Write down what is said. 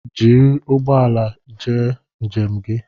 Jiri ụgbọala njem gi